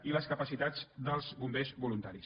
i les capacitats dels bombers voluntaris